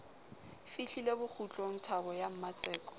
fihlile bokgutlong thabo ya mmatseko